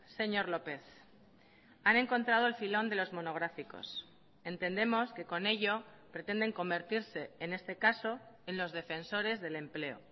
señor lópez han encontrado el filón de los monográficos entendemos que con ello pretenden convertirse en este caso en los defensores del empleo